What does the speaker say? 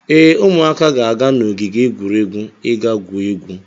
Ee, ụmụaka ga-aga n'ogige egwuregwu ị gaa gwuo egwu.